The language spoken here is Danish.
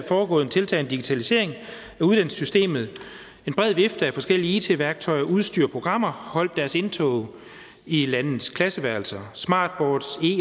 foregået en tiltagende digitalisering af uddannelsessystemet en bred vifte af forskellige it værktøjer udstyr og programmer holdt deres indtog i landets klasseværelser og smartboards